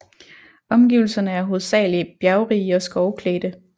Omgivelserne er hovedsagelig bjergrige og skovklædte